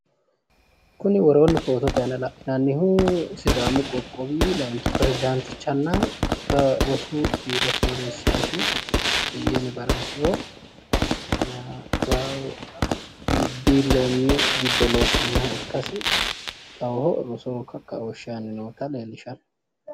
Kuni woroonni footote la'nannihu sidaamu qoqqowi layinkki perezdaanticha ikkanna rosu biiro sooreessaati. Beyyene baraasiho. Biilloonyu giddo loosannoha ikkasinni kawiyo rosoho kakkaooshshe aanni noota leellishshanno.